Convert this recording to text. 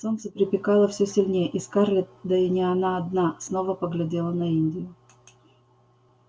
солнце припекало всё сильнее и скарлетт да и не она одна снова поглядела на индию